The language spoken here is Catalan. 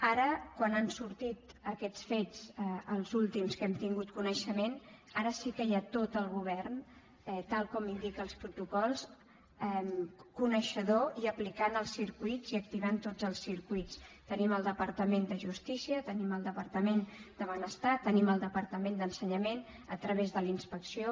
ara quan han sortit aquests fets els últims de què hem tingut coneixement ara sí que hi ha tot el govern tal com indiquen els protocols coneixedor i aplicant els circuits i activant tots els circuits tenim el departament de justícia tenim el departament de benestar tenim el departament d’ensenyament a través de la inspecció